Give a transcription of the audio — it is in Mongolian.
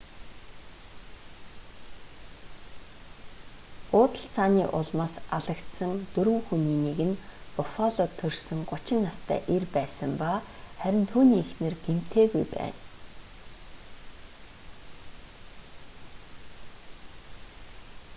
буудалцааны улмаас алагдсан дөрвөн хүний нэг нь буффалод төрсөн 30 настай эр байсан ба харин түүний эхнэр гэмтээгүй байна